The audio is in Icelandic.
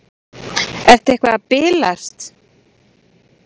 Ertu eitthvað að bilast?